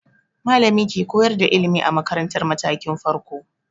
Malami ke koyar da ilimi a makaratar matakin farko.